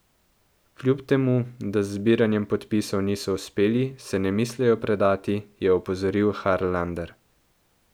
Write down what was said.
Kljub temu, da z zbiranjem podpisov niso uspeli, se ne mislijo predati, je opozoril Harlander.